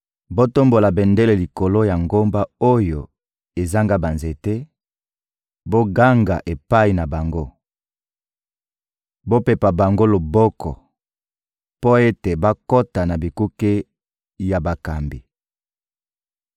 Botombola bendele likolo ya ngomba oyo ezanga banzete, boganga epai na bango; bopepa bango loboko mpo ete bakota na bikuke ya bakambi.